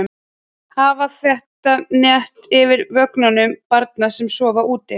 Hafa þétt net yfir vögnum barna sem sofa úti.